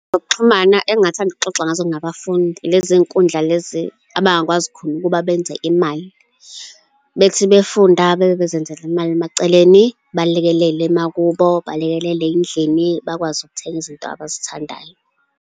Zokuxhumana engingathanda ukuxoxa ngazo nabafundi, ilezi zinkundla lezi abangakwazi khona ukuba benze imali, bethi befunda bebe bezenzela imali emaceleni, balekelele emakubo, balekelele ey'ndlini, bakwazi ukuthenga izinto abazithandayo.